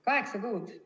Kaheksa kuud!